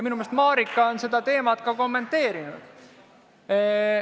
Minu meelest on Marika seda teemat ka kommenteerinud.